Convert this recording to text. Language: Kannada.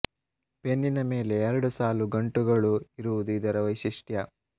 ಬೆನ್ನಿನ ಮೇಲೆ ಎರಡು ಸಾಲು ಗಂಟುಗಳು ಇರುವುದು ಇದರ ವೈಶಿಷ್ಟ್ಯ